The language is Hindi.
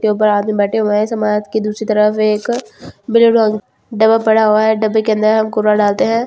के ऊपर आदमी बैठे हुए हैं समाज के दूसरी तरफ एक ब्लू डब्बा पड़ा हुआ है डब्बे के अंदर हम कुरा डालते हैं।